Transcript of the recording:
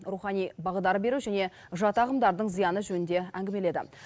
рухани бағдар беру және жат ағымдардың зияны жөнінде әңгімеледі